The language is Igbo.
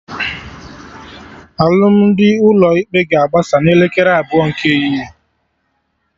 Alụmdi ụlọ ikpe ga-agbasa na elekere abụọ nke ehihie